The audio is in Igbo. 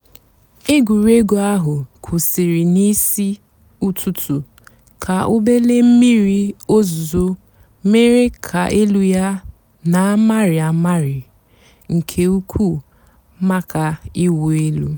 ègwùrégwú àhú́ kwụ́sị́rị́ n'ìsí ụ́tụtú kà òbèlé m̀mìrí ózùzó mèéré kà èlú yá nà-àmị́rị́ àmị́rị́ nkè ùkwú màkà ị̀wụ́ èlú.